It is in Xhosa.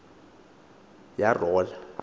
yarola